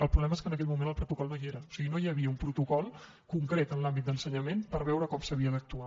el problema és que en aquell moment el protocol no hi era o sigui no hi havia un protocol concret en l’àmbit d’ensenyament per veure com s’havia d’actuar